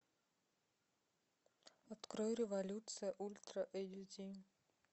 открой революция ультра эйч ди